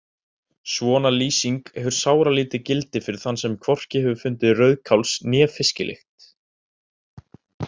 Svona lýsing hefur sáralítið gildi fyrir þann sem hvorki hefur fundið rauðkáls- né fisklykt.